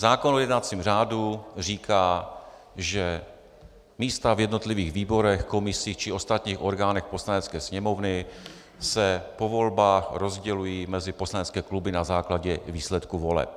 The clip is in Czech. Zákon o jednacím řádu říká, že místa v jednotlivých výborech, komisích či ostatních orgánech Poslanecké sněmovny se po volbách rozdělují mezi poslanecké kluby na základě výsledků voleb.